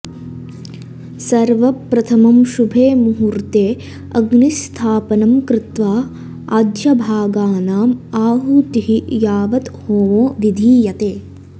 सर्वप्रथमं शुभे मुहूर्त्ते अग्निस्थापनं कृत्वा आज्यभागानाम् आहुतिः यावत् होमो विधीयते